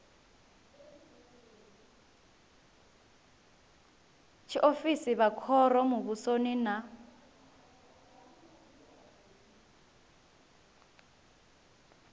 tshiofisi vha khoro muvhusoni na